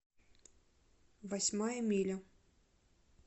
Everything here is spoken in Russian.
восьмая миля